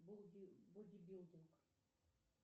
боди билдинг